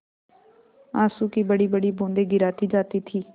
आँसू की बड़ीबड़ी बूँदें गिराती जाती थी